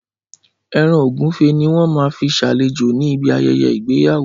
Ẹran Ògúnfe ni wọ́n máa fi ṣàlejò ní bí ayẹyẹ ìgbéyàwó.